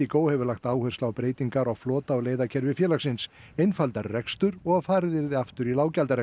indigo hefur lagt áherslu á breytingar á flota og leiðakerfi félagsins einfaldari rekstur og farið yrði aftur í